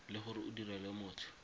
le gore o direla motho